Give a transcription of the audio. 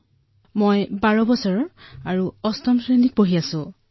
মোৰ বয়স বাৰ বছৰ আৰু মই অষ্টম শ্ৰেণীত পঢ়ো